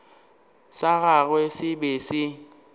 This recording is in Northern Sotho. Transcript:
sa gagwe se be se